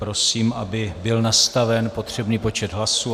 Prosím, aby byl nastaven potřebný počet hlasů.